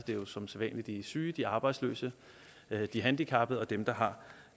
det jo som sædvanlig de syge de arbejdsløse de handicappede og dem der har